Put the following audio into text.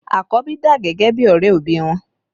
Àkọ́bí dà gẹ́gẹ́ bí ọrẹ òbí wọn